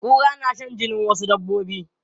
Kura na shan jinin wasu dabbobi.